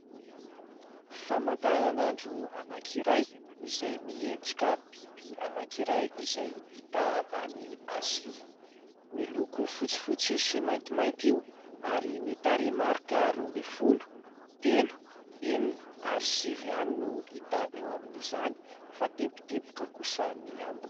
Famantaranandro anankiray izay miendrika biby anankiray izay hita any Azia. Miloko fotsifotsy sy maintimainty io ary ny tarehimarika roa ambin'ny folo, telo, enina ary sivy ihany no hita eo amin'izany fa teboteboka kosa ny ambiny.